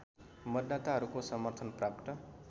मतदाताहरूको समर्थन प्राप्त